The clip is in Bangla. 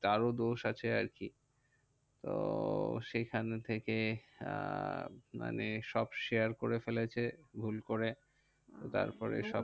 তার ও দোষ আছে আরকি। তো সেখান থেকে আহ মানে সব share করে ফেলেছে ভুল করে। তারপরে সব